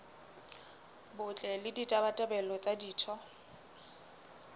botle le ditabatabelo tsa ditho